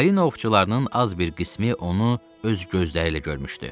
Balina ovçularının az bir qismi onu öz gözləriylə görmüşdü.